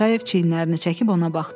Paşayev çiynlərini çəkib ona baxdı.